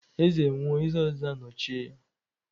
Eze nwụọ, eze ọzọ anọchie ya.